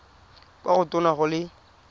kwa go tona go le